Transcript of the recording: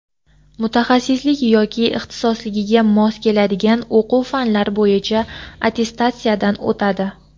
mutaxassislik yoki ixtisosligiga mos keladigan o‘quv fanlar bo‘yicha attestatsiyadan o‘tadi.